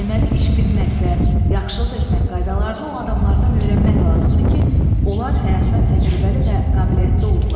Deməli, iş bilmək və yaxşılıq etmək qaydalarını o adamlardan öyrənmək lazımdır ki, onlar həyatda təcrübəli və qabiliyyətli olublar.